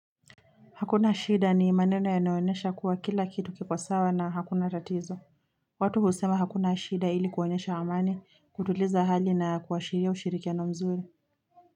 Hakuna shida ni maneno yanayoonyesha kuwa kila kitu kiko sawa na hakuna tatizo. Watu husema hakuna shida ili kuonyesha amani, kutuliza hali na kuashiria ushirikiano mzuri.